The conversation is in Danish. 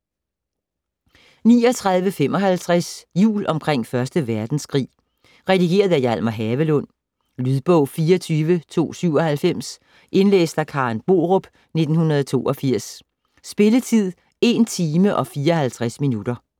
39.55 Jul omkring 1. verdenskrig Redigeret af Hjalmar Havelund Lydbog 24297 Indlæst af Karen Borup, 1982. Spilletid: 1 timer, 54 minutter.